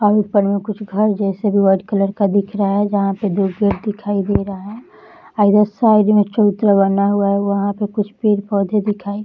और ऊपर में कुछ घर जैसे भी वाइट कलर का दिख रहा है। जहाँ पे दो गेट दिखाई दे रहा है। अ इधर साइड में चबूतरा बना हुआ है वहाँ पे कुछ पेड़ पौधे दिखाई --